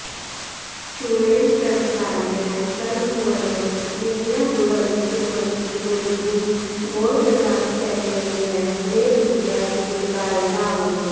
शूलेन प्रविदार्य सर्वभुवनं निर्व्याकुलं कुर्वती रोद्धुं घोरकृतान्तसैन्यमिह मे दुर्गैव दुर्गायताम्